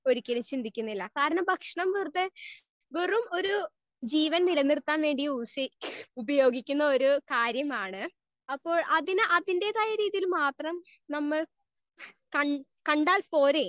Speaker 1 ഒരിക്കലും ചിന്തിക്കുന്നില്ല. കാരണം ഭക്ഷണം വെറുതെ വെറും ഒര് ജീവൻ നിലനിർത്താൻ വേണ്ടി യൂസ് ഉപയോഗിക്കുന്ന ഒര് കാര്യമാണ്. അപ്പോ അതിന്റെ തായ രീതിക്ക് നമ്മൾ കാ കണ്ടാൽ പോരെ?